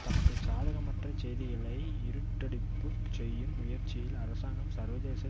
தமக்கு சாதகமற்ற செய்திகளை இருட்டடிப்புச் செய்யும் முயற்சியில் அரசாங்கம் சர்வதேச